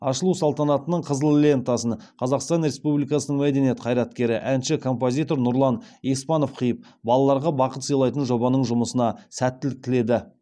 ашылу салтанатының қызыл лентасын қазақстан республикасының мәдениет қайреткері әнші композитор нұрлан еспанов қиып балаларға бақыт сыйлайтын жобаның жұмысына сәттілік тіледі